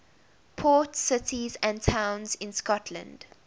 port cities and towns in scotland